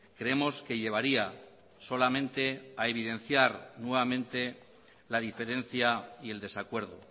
creemos que llevaría solamente a evidenciar nuevamente la diferencia y el desacuerdo